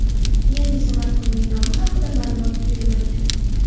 Yangi smartfonning nomi haqia ma’lumot berilmagan.